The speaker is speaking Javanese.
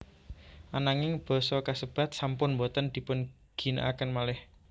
Ananging basa kasebat sampun boten dipunginakaken malih